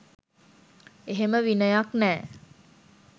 එහෙම විනයක් නෑ